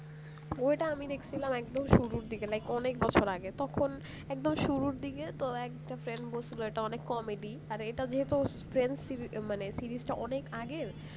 ওইটা আমি দেখছিলাম একদম শুরুর দিকে অনেক বছর আগে তখন একদম শুরুর দিকে তো একটা friends বলছিল ওটা অনেক কমে দি আর এটা যেহেত friends series মানে series টা অনেক আগের